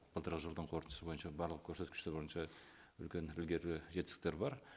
былтырғы жылдың қорытындысы бойынша барлық көрсеткіштер бойынша үлкен ілгері жетістіктер бар